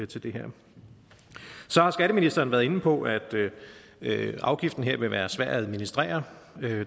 til det her så har skatteministeren været inde på at at afgiften her vil være svær at administrere